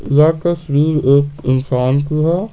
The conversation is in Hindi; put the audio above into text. यह तस्वीर एक इंसान की है।